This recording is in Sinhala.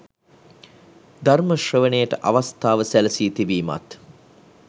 ධර්ම ශ්‍රවණයට අවස්ථාව සැලසී තිබීමත්